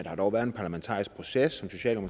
har dog været en parlamentarisk proces